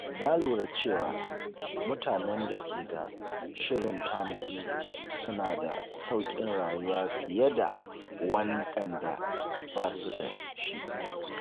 Na lura cewa mutanen da ke da shirin tanadi suna da sauƙin rayuwa fiye da waɗanda ba su da shi.